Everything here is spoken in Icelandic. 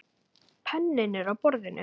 Penninn er á borðinu.